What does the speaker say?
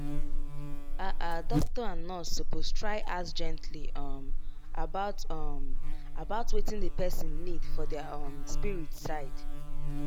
ah ah doctor and nurse suppose try ask gently um about um about wetin the person need for their um spirit side.